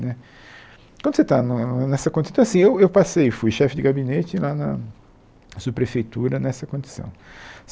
Né quando você está no nessa condição... Então assim, eu eu passei, fui chefe de gabinete lá na subprefeitura, nessa condição.